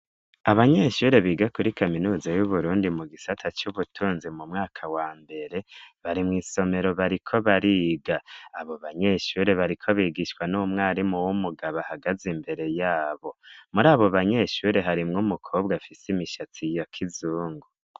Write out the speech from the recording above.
Abanyeshure biga kuri kaminuzi y'uburundi mu gisata c'ubutunzi mu mwaka wa mbere barimwo isomero bariko bariga abo banyeshure bariko bigishwa n'umwarimu w'umugabo ahagaze imbere yabo muri abo banyeshure harimwo umukobwa afise imishatsi ya kizungu.